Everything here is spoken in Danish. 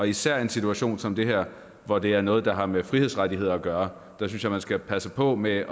især i en situation som den her hvor det er noget der har med frihedsrettigheder at gøre synes jeg man skal passe på med